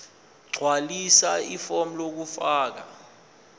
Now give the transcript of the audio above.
gqwalisa ifomu lokufaka